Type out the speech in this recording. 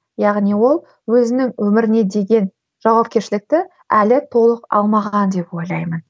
яғни ол өзінің өміріне деген жауапкершілікті әлі толық алмаған деп ойлаймын